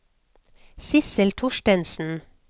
Sissel Thorstensen